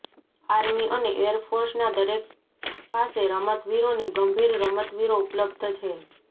army અને air ફોર્સના દરેક પાસે રમતવીરોની ગંભીર રમતવીરો ઉપલબ્ધ છે